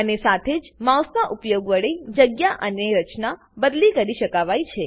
અને સાથે જ માઉસનાં ઉપયોગ વડે જગ્યા અને રચના બદલી કરી શકાવાય છે